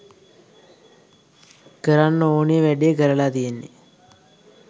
කරන්න ඕනෙ වැඩේ කරලා තියෙන්නෙ.